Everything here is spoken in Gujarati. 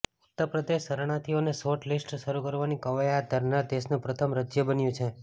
ઉત્તર પ્રદેશ શરણાર્થીઓને શોર્ટ લિસ્ટ શરૂ કરવાની ક્વાયત હાથ ધરનાર દેશનું પ્રથમ રાજ્ય બન્યું છે